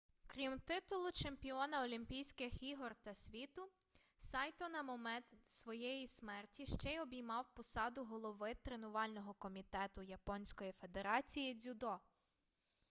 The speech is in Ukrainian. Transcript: крім титулу чемпіона олімпійських ігор та світу сайто на момент своєї смерті ще й обіймав посаду голови тренувального комітету японської федерації дзюдо